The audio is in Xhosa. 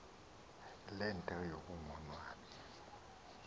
le nto yokungonwabi